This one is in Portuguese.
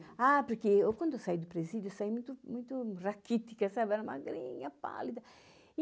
Ah, porque eu quando eu saí do presídio, eu saí muito, muito raquítica, era magrinha, pálida.